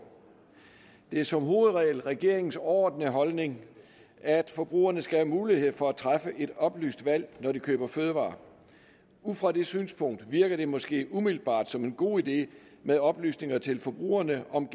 det er som hovedregel regeringens overordnede holdning at forbrugerne skal have mulighed for at træffe et oplyst valg når de køber fødevarer ud fra det synspunkt virker det måske umiddelbart som en god idé med oplysninger til forbrugerne om